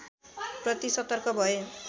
प्रति सतर्क भए